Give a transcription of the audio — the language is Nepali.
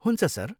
हुन्छ सर।